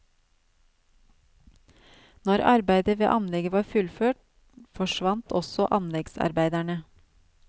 Når arbeidet ved anlegget var fullført, forsvant også anleggsarbeiderne.